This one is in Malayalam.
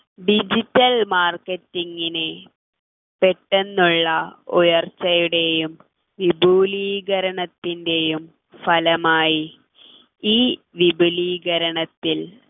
digital marketing നെ പെട്ടെന്നുള്ള ഉയർച്ചയുടെയും വിപുലീകരണത്തിൻ്റെയും ഫലമായി ഈ വിപുലീകരണത്തിൽ